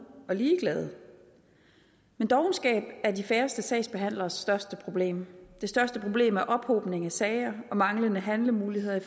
og ligeglade men dovenskab er de færreste sagsbehandleres største problem det største problem er ophobning af sager og manglende handlemuligheder i